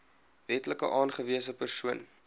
wetlik aangewese persoon